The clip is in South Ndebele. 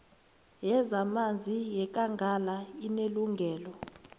yezamanzi yekangala inelungelo